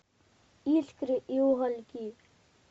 искры и угольки